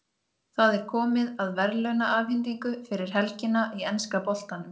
Það er komið að verðlaunaafhendingu fyrir helgina í enska boltanum.